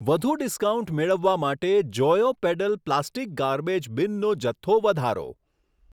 વધુ ડિસ્કાઉન્ટ મેળવવા માટે જોયો પેડલ પ્લાસ્ટિક ગાર્બેજ બિનનો જથ્થો વધારો.